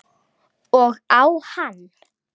Og á hann.